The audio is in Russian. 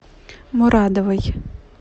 мурадовой